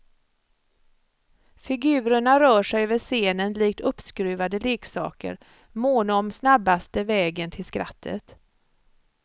Figurerna rör sig över scenen likt uppskruvade leksaker, måna om snabbaste vägen till skrattet.